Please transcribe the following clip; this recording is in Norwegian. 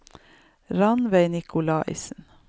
Rannveig Nikolaisen